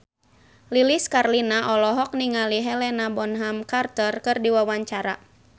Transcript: Lilis Karlina olohok ningali Helena Bonham Carter keur diwawancara